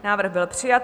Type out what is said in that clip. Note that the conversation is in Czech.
Návrh byl přijat.